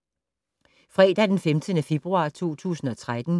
Fredag d. 15. februar 2013